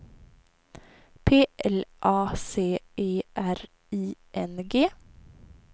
P L A C E R I N G